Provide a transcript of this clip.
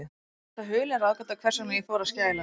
Mér er það hulin ráðgáta, hvers vegna ég fór að skæla.